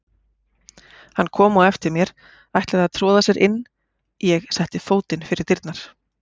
Hann kom á eftir mér, ætlaði að troða sér inn, ég setti fótinn fyrir dyrnar.